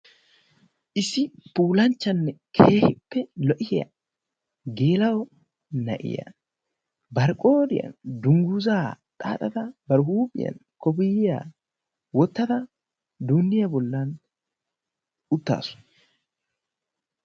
Issi puulanchchanne keehippe lo'iyaa geela'o na'iyaa bari qooriyaan dunguzaa xaaxada ba huuphphiyaan kopiyiyaa wottada duunniyaa bollan uttaasu.